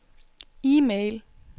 e-mail